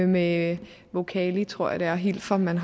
med voocali tror jeg det er helt fra man